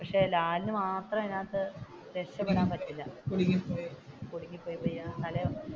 പക്ഷെ ലാലിന് മാത്രം അതിന്റെ അകത്തു രക്ഷപെടാൻ പറ്റൂല